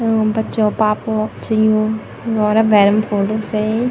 यूँ बच्चों क पापा लोग छं यु घोरा भैरम फोटु खिचायीं।